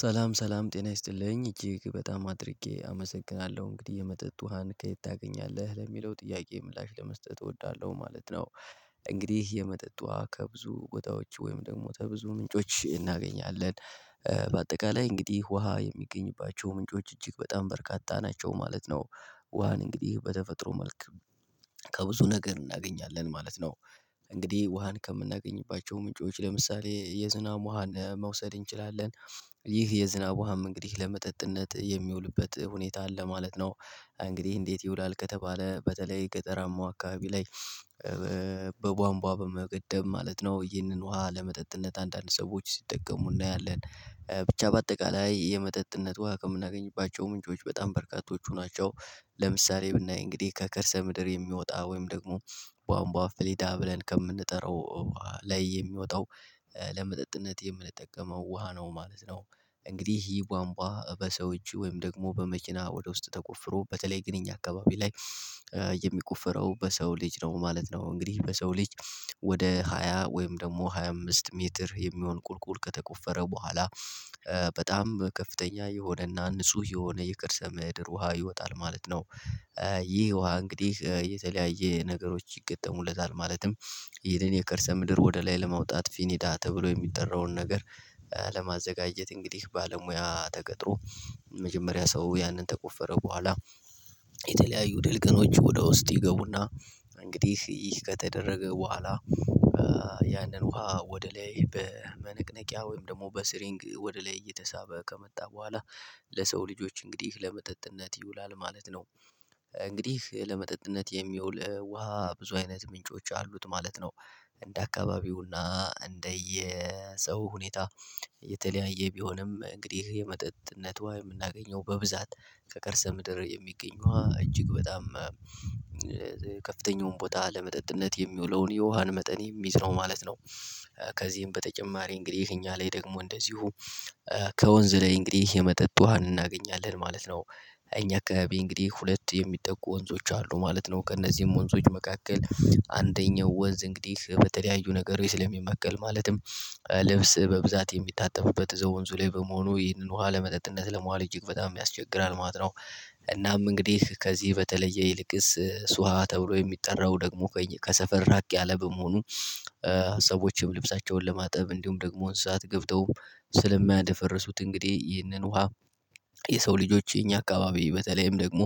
ሰላም ሰላም ጤና ይስጥልኝ እጅግ በጣም አድርጌ አመሰግናለሁ እንግዲህ የመጠጥ ውሃን ከየት ታገኛለህ ለሚለው ጥያቄ ምላሽ ለመስጠት እወዳለሁ ማለት ነው። እንግዲህ የመጠጥ ውሃ ከብዙ ቦታወች ወይም ደግሞ ተብዙ ምንጮች እናገኛለን። በአጠቃላይ እንግዲህ ውሃ የሚገኝባቸው ምንጮች እጅግ በጣም በርካታ ናቸው ማለት ነው። ውሃን እንግዲህ በተፈጥሮ መልክ ከብዙ ነገር እናገኛለን ማለት ነው። እንግዲህ ውሃን ከምናገኝባቸው ምንጮች ለምሳሌ የዝናብ ውሃን መውሰድ እንችላለን። ይህ የዝናብ ውሃም እንግዲህ ለመጠጥነት የሚውልበት ሁኔታ አለ ማለት ነው። እንግዲህ እንዴት ይውላል ከተባለ በተለይ ገጠራማው አካባቢ ላይ? በቧንቧ በመገደብ ማለት ነው ይህንን ውሃ ለመጠጥነት አንዳንድ ሰዎች ሲጠቀሙ እናያለን። ብቻ በአጠቃላይ የመጠጥነት ውሃ ከምናገኝባቸው ምንጮች በጣም በረካቶቹ ናቸው። ለምሳሌ ብናይ እንግዲህ ከከርሰ ምድር የሚወጣ ወይም ደግሞ በአንቧ ፍሊዳ ብለን ከምንጠራው ላይ የሚወጣው ለመጠጥነት የምንጠቀመው ውሃ ነው። ማለት ነው እንግዲህ ይህ ባንቡዋ በሰው እጅ ወይም ደግሞ በመኪና ወደ ውስጥ ተቆፍሮ በተለይ ግን እኛ አካባቢ ላይ የሚቆፍረው በሰው ልጅ ነው ማለት ነው። እንግዲህ በሰው ልጅ ወደ ሃያ ወይም ደግሞ ሃያ አምስት ሜትር የሚሆን ቁልቁል ከተቆፈረ በኋላ በጣም ከፍተኛ የሆነና ንጹህ የሆነ የከርሰ ምድር ውሃ ይወጣል ማለት ነው። ይህ ውሃ እንግዲህ የተለያየ ነገሮች ይገጠሙለታል ማለትም ይደን የከርሰ ምድር ወደ ላይ ለመውጣት ፊኒዳ ተብሎ የሚጠራውን ነገር ለማዘጋጀት እንግዲህ ባለሙያ ተቀጥሮ መጀመሪያ ሰው ያንን ተቆፈረው በኋላ የተለያዩ ድልቀኖች ወደ ውስጥ ይገቡና እንግዲህ ይህ ከተደረገ በኋላ ያንን ውሃ ወደ ላይ በመንቅነቂያ ወይም ደግሞ በስሪንግ ወደ ላይ እየተሳበ ከመጣ በኋላ ለሰው ልጆች እንግዲህ ለመጠጥነት ይውላል ማለት ነው። እንግዲህ ለመጠጥነት የሚውል ውሃ ብዙ አይነት ምንጮች አሉት ማለት ነው። እንደ አካባቢውና እንደየ ሰው ሁኔታ የተለያየ ቢሆንም እንግዲህ የመጠጥነቷ የምናገኘው በብዛት ከከርሰ ምድር የሚገኘ ዉሃ እጅግ በጣም ቦታ ለመጠጥነት የሚውለውን የውሃን መጠን የሚዝነው ማለት ነው። ከዚህም በተጨማሪ እንግዲህ እኛ ላይ ደግሞ እንደዚሁ ከወንዝ ላይ እንግዲህ የመጠጥ ውሃ እናገኛለን ማለት ነው። እኛ አካባቢ እንግዲህ ሁለት የሚጠቁ ወንዞች አሉ ማለት ነው ከእነዚህም ወንዞች መካከል አንደኛው ወንዝ እንግዲህ በተለያዩ ነገር ስለሚማቀል ማለትም ልብስ በብዛት የሚታጠብበት እዛው ወንዙ ላይ በመሆኑ ይህንን ውሃ ለመጠጥነት ለመዋል እጅግ በጣም ያስቸግራል ማለት ነው። እናም እንግዲህ ከዚህ በተለየ ይልቅስ ስዋ ተብሎ የሚጠራው ደግሞ ከሰፈር ራቅ ያለ በመሆኑ ሰዎች ልብሳቸውን ለማጠብ እንዲሁም ደግሞ እንስሳት ገብተውም ስለማያደፈርሱት እንግዲህ ይህንን ውሃ የሰው ልጆች የኛ አካባቢ በተለይም ደግሞ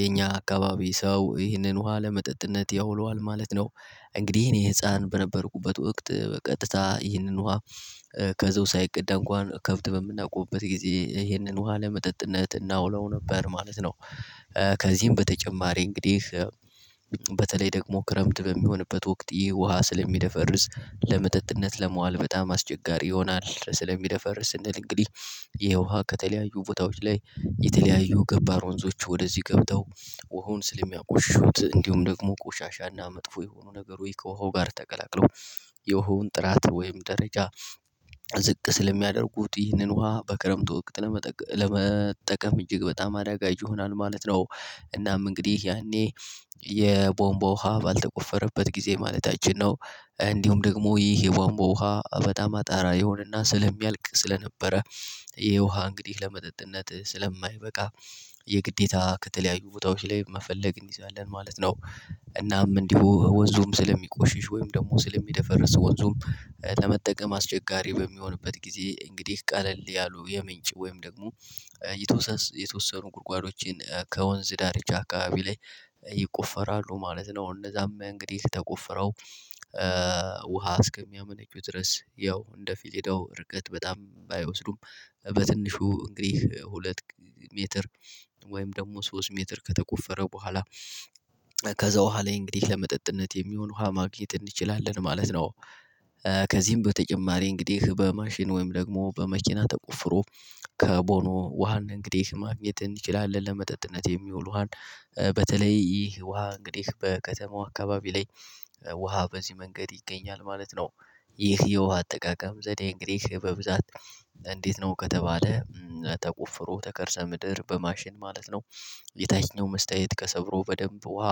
የኛ አካባቢ ሰው ይህንን ውሃ ለመጠጥነት ያውለዋል ማለት ነው። እንግዲህ እኔ ህፃን በነበርኩበት ወቅት በቀጥታ ይህንን ውሃ ከዛው ሳይቀዳ እንኳን ከብት በምናቆምበት ጊዜ ይሄንን ውሃ ለመጠጥነት እናውለው ነበር ማለት ነው። ከዚህም በተጨማሪ እንግዲህ በተለይ ደግሞ ክረምት በሚሆንበት ወቅት ይህ ውሃ ስለሚደፈርስ ለመጠጥነት ለመዋል በጣም አስቸጋሪ ይሆናል ስለሚደፈር ስንል እንግዲህ ይሄ ውሃ ከተለያዩ ቦታዎች ላይ የተለያዩ ገባር ወንዞች ወደዚህ ገብተው ውሀኑ ስለሚያቆሽሹት እንዲሁም ደግሞ ቆሻሻና መጥፎ የሆኑ ነገሮይ ከወሁ ጋር ተገላቅለው የውሃውን ጥራት ወይም ደረጃ ዝቅ ስለሚያደርጉት ይህንን ውሃ በክረምቱ ወቅት ለመጠቀም እጅግ በጣም አዳጋጅ ይሆናል ማለት ነው። እናም እንግዲህ ያኔ የቦምቦ ውሃ ባልተቆፈረበት ጊዜ ማለታችን ነው እንዲሁም ደግሞ ይህ የቦምቦ ውሃ በጣም አጣራ የሆነና ስለሚያልቅ ስለነበረ የውሃ እንግዲህ ለመጠጥነት ስለማይበቃ የግዴታ ከተለያዩ ቦታዎች ላይ መፈለግ እንይዛለን ማለት ነው። እናም እንዲሁ ወንዙም ስለሚቆሽሽ ወይም ደግሞ ስለሚደፈርስ ወንዙም ለመጠቀም አስቸጋሪ በሚሆንበት ጊዜ እንግዲህ ቀለል ያሉ የምንጭ ወይም ደግሞ የተወሰኑ ጉድጓዶችን ከወንዝ ዳርቻ አካባቢ ላይ ይቆፈራሉ ማለት ነው። እነዛም እንግዲህ ተቆፍረው ውሃ እስከሚያመነጩ ድረስ ያው እንደ ፊለዳው እርገጥ በጣም ባይወስዱም በትንሹ እንግዲህ ሁለት ሜትር ወይም ደግሞ ሶስት ሜትር ከተቆፈረ በኋላ ከዛ ውሃ ላይ እንግዲህ ለመጠጥነት የሚሆን ውሃ ማግኘት እንችላለን ማለት ነው። ከዚህም በተጨማሪ እንግዲህ በማሽን ወይም ደግሞ በመኪና ተቆፍሮ ከቦኖ ውሃን እንግዲህ ማግኘት እንችላለን ለመጠጥነት የሚውል ውሃን ከወንዝ ላይ እንግዲህ የመጠጥ ውሃን እናገኛለን ማለት ነው እኛ አካባቢ እንግዲህ ሁለት የሚጠቁ ወንዞች አሉ ማለት ነው ከእነዚህም ወንዞች መካከል አንደኛው ወንዝ እንግዲህ በተለያዩ ነገር ወይ ስለሚመቀል ማለትም ይህ የውሃ አጠቃቀም ዘዴ እንግዲህ በብዛት እንዴት ነው ከተባለ? ተቆፍሮ ተከርሰ ምድር በማሽን ማለት ነው። የታችኛው መስተያየት ከሰብሮ በደንብ ውሃ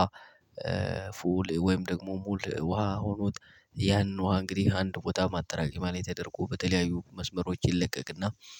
ፉል ወይም ደግሞ ሙሉ ውሃ ሆኖት ያን ውሃ እንግዲህ አንድ ቦታ ማጠራቀሚያ ላይ ተደረጎ በተለያዩ መስመሮች ይለቀቅና